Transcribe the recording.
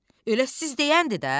Elə siz deyəndir də?